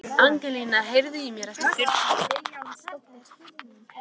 Angelína, heyrðu í mér eftir fjörutíu mínútur.